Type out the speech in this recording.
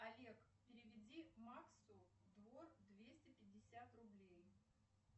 олег переведи максу двор двести пятьдесят рублей